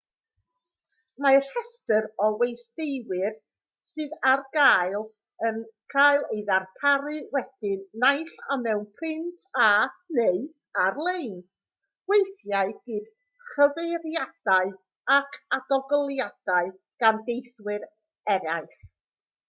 mae rhestr o westeiwyr sydd ar gael yn cael ei darparu wedyn naill ai mewn print a/neu ar-lein weithiau gyda chyfeiriadau ac adolygiadau gan deithwyr eraill